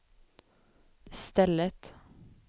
stället